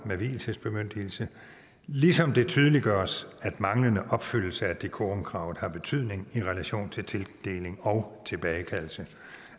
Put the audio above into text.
med vielsesbemyndigelse ligesom det tydeliggøres at manglende opfyldelse af decorumkravet har betydning i relation til til tildeling og tilbagekaldelse